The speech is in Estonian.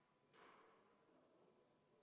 Vaheaeg on lõppenud.